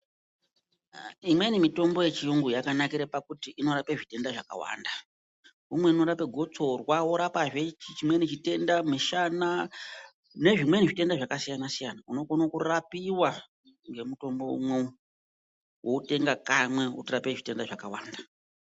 Imweni mitombo yechiyungu yakanakire pakuti inorape zvitenda zvakwanda umwe i unorape gotsora worapa zvee chimweni chitenda mushana nezvimweni zvitenda zvakasiyana siyana unokone kurapiwa ngemutombo unwewo wotenga kamwe wotorape zviyenda zvakawanda.